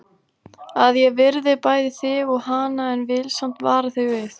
Að ég virði bæði þig og hana en vil samt vara þig við.